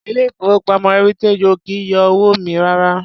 Ilé ìfowópamọ́ Heritage ò kì í yọ owó mi rárá.